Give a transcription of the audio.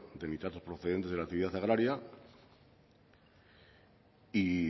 de nitratos procedentes de la actividad agraria